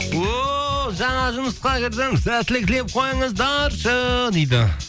ооо жаңа жұмысқа кірдім сәттілік тілеп қойыңыздаршы дейді